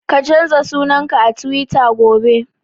Ka canza sunan ka a Tiwita gobe!